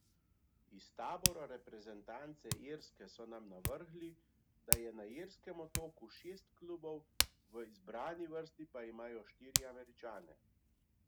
Iz tabora reprezentance Irske so nam navrgli, da je na irskem otoku šest klubov, v izbrani vrsti pa imajo štiri Američane.